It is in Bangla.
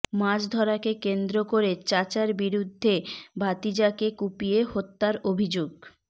মাছ ধরাকে কেন্দ্র করে চাচার বিরুদ্ধে ভাতিজাকে কুপিয়ে হত্যার অভিযোগ